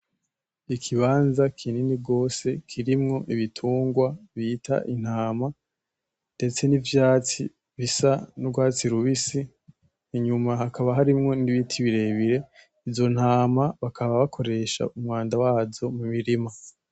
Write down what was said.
Ikibanza kinini gose kirimwo ibitungwa bita Intama , ndetse nivyatsi bisa n’urwatsi rubisi inyuma hakaba harimwo n’ibiti birebire, izontama bakababakoresha umwanda wazo mumurima.